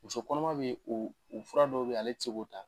Muso kɔnɔma be o u fura dɔw be ale ti se k'o ta.